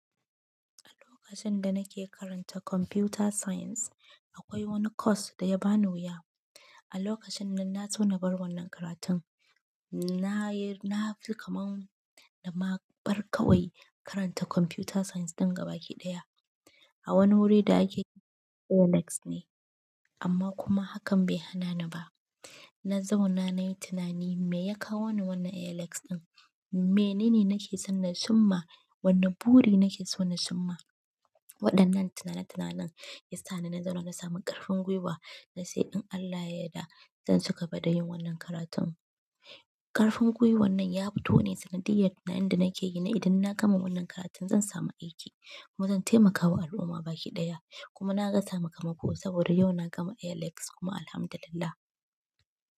A lokacin da nake karanta computer science, akwai wani course da ya bani wuya. A lokacin nan na so na bar wannan karatun, na yi-- na fi kamar da ma bar kawai karanta computer science ɗin gabaki ɗaya. A wani wuri da ake Linux ne, amma kuma hakan bai hana ni ba. Na zauna nayi tunani, me ya kawo ni wannan Linux ɗin? Menene nake son na cimma? Wani buri nake son na cimma? Waɗannan tunane tunanen ya sa ni na zauna na sami ƙarfin gwiwa na ce in Allah ya yadda, zan ci gaba da yin wannan karatun. Ƙarfin gwiwan nan yafito ne sanadiyar tunanin da nake yi na idan na gama wannan karatun zan samu aiki kuma zan taimaka wa al'umma baƙi ɗaya. Kuma naga sakamako saboda yau na gama Linux kuma alhamdulillah.